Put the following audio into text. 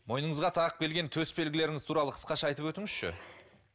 мойныңызға тағып келген төс белгілеріңіз туралы қысқаша айтып өтіңізші